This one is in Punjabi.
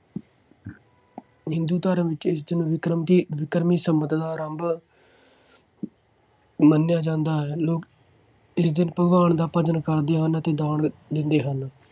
ਹਿੰਦੂ ਧਰਮ ਵਿੱਚ ਬਿਕਰਮਕੀ ਬਿਕਰਮੀ ਸੰਮਤ ਦਾ ਆਰੰਭ ਮੰਨਿਆ ਜਾਂਦਾ ਹੈ। ਲੋਕ ਇਸ ਦਿਨ ਭਗਵਾਨ ਦਾ ਭਜਨ ਕਰਦੇ ਹਨ ਅਤੇ ਦਾਨ ਦਿੰਦੇ ਹਨ।